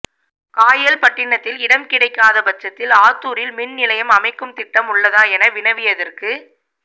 காயல்பட்டினத்தில் இடம் கிடைக்காத பட்சத்தில் ஆத்தூரில் மின் நிலையம் அமைக்கும் திட்டம் உள்ளதா என வினவியதற்கு